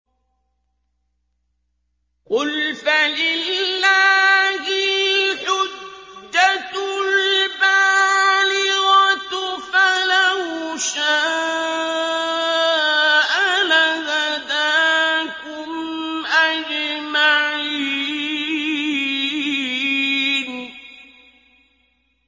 قُلْ فَلِلَّهِ الْحُجَّةُ الْبَالِغَةُ ۖ فَلَوْ شَاءَ لَهَدَاكُمْ أَجْمَعِينَ